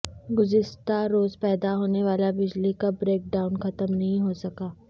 گزشتہ روز پیدا ہونے والا بجلی کا بریک ڈائون ختم نہیں ہو سکا